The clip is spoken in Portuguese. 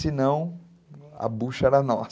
Senão, a bucha era nossa,